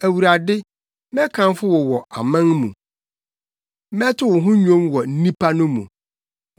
Awurade, mɛkamfo wo wɔ aman mu; mɛto wo ho nnwom wɔ nnipa no mu.